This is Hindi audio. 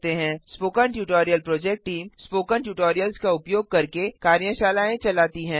spoken tutorial project team spoken tutorials का उपयोग करके कार्यशालाएँ चलाती है